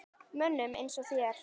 Mönnum eins og þér?